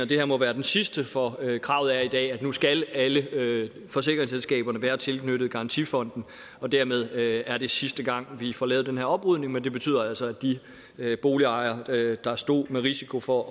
det her må være det sidste for kravet er i dag at nu skal alle forsikringsselskaberne være tilknyttet garantifonden og dermed er det sidste gang vi får lavet den her oprydning men det betyder altså at de boligejere der stod med risiko for